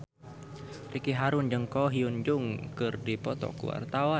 Ricky Harun jeung Ko Hyun Jung keur dipoto ku wartawan